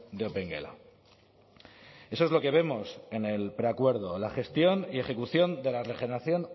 de opengela eso es lo que vemos en el preacuerdo la gestión y ejecución de la regeneración